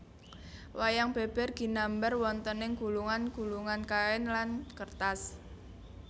Wayang beber ginambar wontening gulungan gulungan kain lan kertas